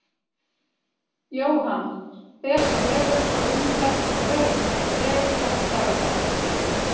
Jóhann: Ber sá vegur þá umferð sem fer um þennan veg dags daglega?